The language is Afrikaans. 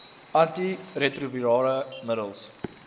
anti retrovirale middels